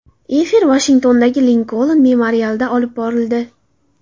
Efir Vashingtondagi Linkoln memorialida olib borildi.